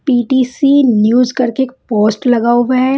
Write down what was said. P_ T_ C_ news करके एक post लगा हुआ है।